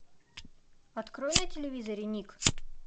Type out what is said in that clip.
открой на телевизоре ник